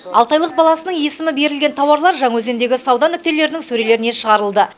алты айлық баласының есімі берілген тауарлар жаңаөзендегі сауда нүктелерінің сөрелеріне шығарылды